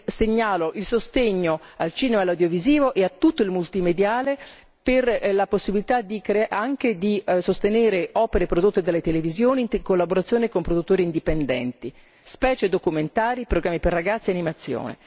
Segnalo il sostegno al cinema e all'audiovisivo e a tutto il multimediale per la possibilità anche di sostenere opere prodotte dalle televisioni in collaborazione con produttori indipendenti, specie documentari, programmi per ragazzi e animazione.